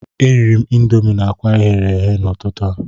M riri Indomi na akwa eghe n'ụtụtụ taa.